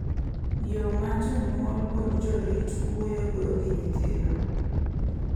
Yo ma jonyuol kod jorit wuoyogo gi nyithindo .